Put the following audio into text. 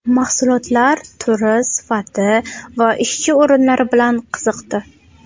Mahsulotlar turi, sifati va ishchi o‘rinlari bilan qiziqdi.